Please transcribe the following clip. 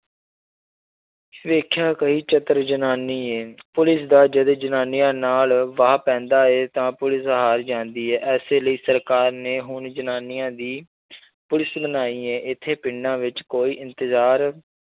ਵੇਖਿਆ ਕਹੀ ਚਤਰ ਜਨਾਨੀ ਹੈ ਪੁਲਿਸ ਦਾ ਜਦ ਜਨਾਨੀਆਂ ਨਾਲ ਵਾਹ ਪੈਂਦਾ ਹੈ ਤਾਂ ਪੁਲਿਸ ਹਾਰ ਜਾਂਦੀ ਹੈ ਇਸੇ ਲਈ ਸਰਕਾਰ ਨੇ ਹੁਣ ਜਨਾਨੀਆਂ ਦੀ ਪੁਲਿਸ ਬਣਾਈ ਹੈ ਇੱਥੈ ਪਿੰਡਾਂ ਵਿੱਚ ਕੋਈ ਇੰਤਜ਼ਾਰ